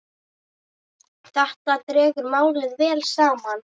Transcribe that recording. Þetta dregur málið vel saman.